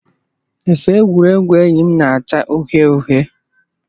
Efe egwuregwu enyi m na-acha uhie uhie